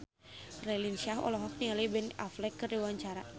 Raline Shah olohok ningali Ben Affleck keur diwawancara